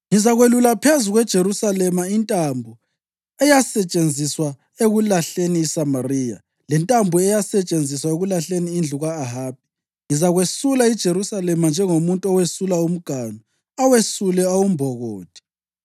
Ngizakwelula phezu kweJerusalema intambo eyasetshenziswa ekulahleni iSamariya, lentambo eyasetshenziswa ekulahleni indlu ka-Ahabi. Ngizakwesula iJerusalema njengomuntu owesula umganu, awesule awumbokothe.